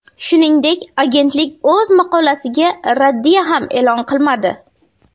Shuningdek, agentlik o‘z maqolasiga raddiya ham e’lon qilmadi.